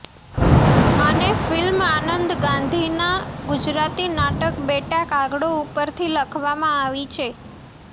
અને ફિલ્મ આનંદ ગાંધીના ગુજરાતી નાટક બેટા કાગડો ઉપરથી લખવામાં આવી છે